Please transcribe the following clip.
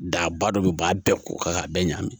Daba dɔ bɛ ba bɛɛ ko kan k'a bɛɛ ɲagami